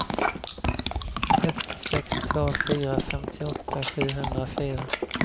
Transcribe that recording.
ett sex två fyra femtioåtta sjuhundrafyra